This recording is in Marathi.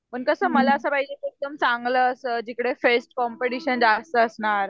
पण कसं मला असं पाहिजे की एकदम चांगलं असं जिकडे फ्रेश कॉम्पिटिशन असं असणार